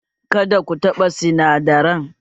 Kada ku taɓa sinadaran!